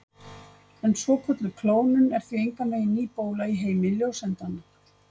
En svokölluð klónun er því engan veginn ný bóla í heimi ljóseindanna.